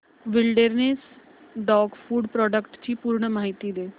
wilderness dog food products ची पूर्ण माहिती दे